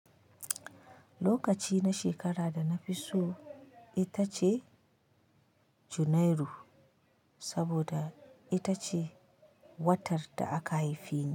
Lokaci na shekara da na fi so ita ce Junairu saboda ita ce watar da aka haife ni.